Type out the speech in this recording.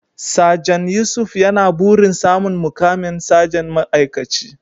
Sajan Yusuf yana burin samun muƙamin sajan ma'aikaci.